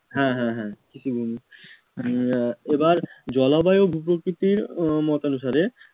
হ্যাঁ হ্যাঁ ঠিকই বলছো আহ এবার জলবায়ু ভূপ্রকৃতির উহ মতানুসারে